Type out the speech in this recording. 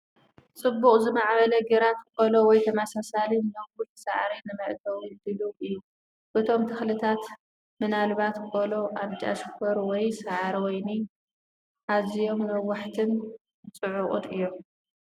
ጽቡቕ ዝማዕበለ ግራት ቆሎ ወይ ተመሳሳሊ ነዊሕ ሳዕሪ ንመእተዊ ድሉው እዩ። እቶም ተኽልታት (ምናልባት ቆሎ፡ ቃንጫ ሽኮር ወይ ሳዕሪ ወይኒ) ኣዝዮም ነዋሕትን ጽዑቕን እዮም።